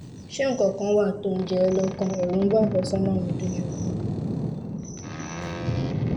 ṣé nǹkan kan wà tó ń jẹ ẹ́ lọ́kàn? ẹ̀rù ń ba àfẹ́sọ́nà mi dójú ikú